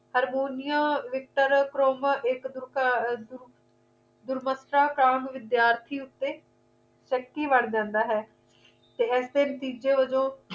harmonia victor ਅਰ proma ਇੱਕ ਦੂਰਮੱਤਸ਼ਾਹ ਕਾਮ ਵਿਦਿਆਰਥੀ ਉਤੇ ਸ਼ੱਕੀ ਵੜ ਜਾਂਦਾ ਹੈ ਤੇ ਏਸੇ ਨਤੀਜੇ ਵਜੋਂ